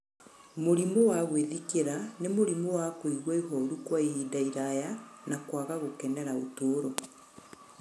Mũrimũ wa gwĩthikĩra nĩ mũrimũ wa kũigua ihoru kwa ihinda iraya, na kwaga gũkenera ũtũũro.